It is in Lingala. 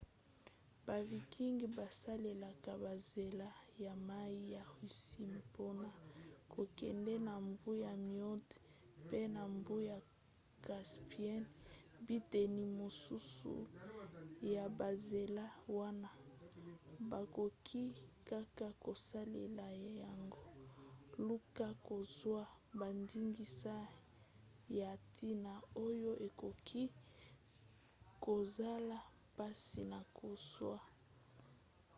ba vikings basalelaki banzela ya mai ya russie mpona kokende na mbu ya moindo mpe na mbu ya caspienne. biteni mosusu ya banzela wana bakoki kaka kosalela yango. luka kozwa bandingisa ya ntina oyo ekoki kozala mpasi na kozwa